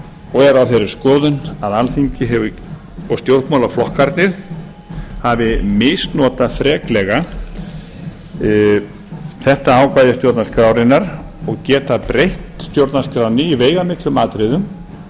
og er á þeirri skoðun að alþingi og stjórnmálaflokkarnir hafi misnotað freklega þetta ákvæði stjórnarskrárinnar og geti breytt stjórnarskránni í veigamiklum atriðum